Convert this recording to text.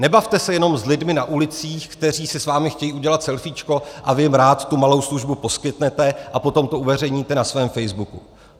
Nebavte se jenom s lidmi na ulicích, kteří si s vámi chtějí udělat selfíčko, a vy jim rád tu malou službu poskytnete a potom to uveřejníte na svém facebooku.